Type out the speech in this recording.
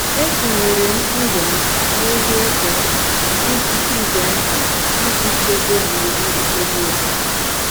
Etinyere m ndụ m n’ihe ize ndụ iji ize ndụ iji chebe gburugburu ebe obibi.